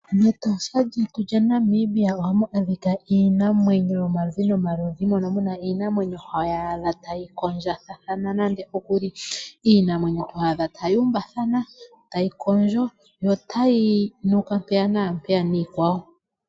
MEtosha lyetu lya Namibia ohamu adhika iinamwenyo yomaludhi nomaludhi mono muna iinamwenyo hoyaadha tayi kondjithathana nandookuli. Iinamwenyo ho adha tayi umbathana tayi kondjo notayi nuka mpeya naampeya niikwawo.